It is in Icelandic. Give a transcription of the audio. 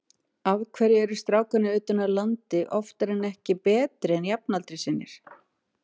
Af hverju eru strákarnir utan af landi oftar en ekki betri en jafnaldrar sínir?